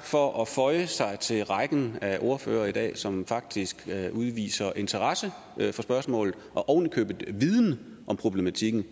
for at føje sig til rækken af ordførere i dag som faktisk udviser interesse for spørgsmålet og oven i købet en viden om problematikken